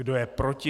Kdo je proti?